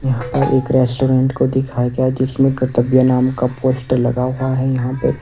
यहां पर एक रेस्टोरेंट को दिखाया गया है जिसमें कर्तव्य नाम का पोस्टर लगा हुआ है यहां पे।